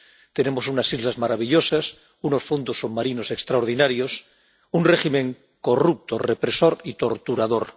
Tenemos unas islas maravillosas, unos fondos submarinos extraordinarios, un régimen corrupto, represor y torturador.